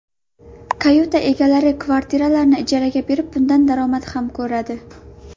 Kayuta egalari kvartiralarini ijaraga berib bundan daromad ham ko‘radi.